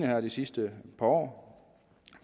her de sidste par år